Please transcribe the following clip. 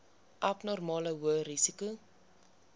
abnormale hoë risiko